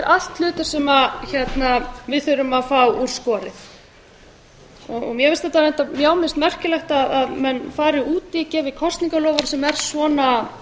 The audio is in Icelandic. allt hlutir sem við þurfum að fá úr skorið mér finnst merkilegt að menn gefi kosningaloforð sem er svona